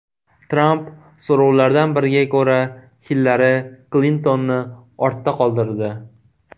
Tramp so‘rovlardan biriga ko‘ra Hillari Klintonni ortda qoldirdi.